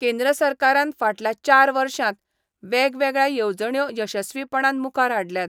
केंद्र सरकारान फाटल्या चार वर्षांत वेगवेगळ्यो येवजण्यो यशस्वीपणान मुखार हाडल्यात.